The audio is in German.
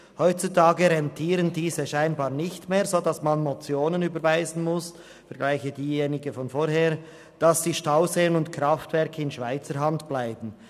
Heutzutage rentieren diese scheinbar nicht mehr, sodass man Motionen überweisen muss – vergleiche die vorherige –, damit die Stauseen und Kraftwerke in Schweizer Hand bleiben.